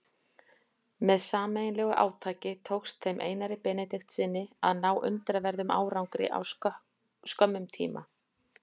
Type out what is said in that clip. Með sameiginlegu átaki tókst þeim Einari Benediktssyni að ná undraverðum árangri á skömmum tíma.